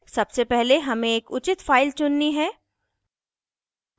सबसे पहले हमें एक उचित फाइल चुननी है